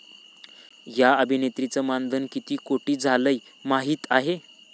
या' अभिनेत्रीचं मानधन किती कोटी झालंय माहीत आहे?